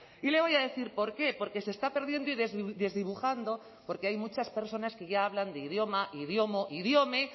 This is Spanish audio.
y le voy a decir por qué porque se está perdiendo y desdibujando porque hay muchas personas que ya hablan de idioma idiomo idiome